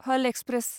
हल express